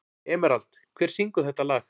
Emerald, hver syngur þetta lag?